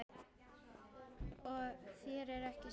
Og þér ekki síður